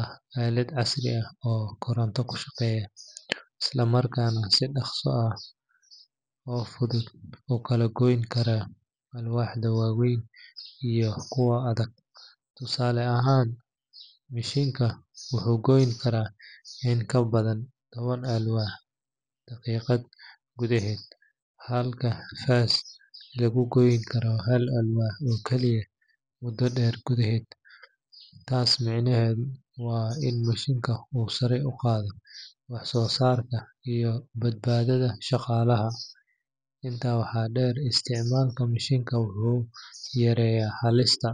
ah aalad casri ah oo koronto ku shaqeysa, islamarkaana si dhaqso leh oo fudud u kala goyn karta alwaaxda waaweyn iyo kuwa adag. Tusaale ahaan, mishiinka wuxuu goyn karaa in ka badan toban alwaax ah daqiiqad gudaheed, halka faas lagu goyn karo hal alwaax oo kaliya muddo dheer gudaheed. Taas micnaheedu waa in mishiinka uu sare u qaado wax soo saarka iyo badbaadada shaqaalaha. Intaa waxaa dheer, isticmaalka mishiinka wuxuu yareeyaa halista.